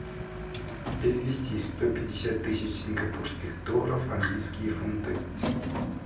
перевести сто пятьдесят тысяч сингапурских долларов в английские фунты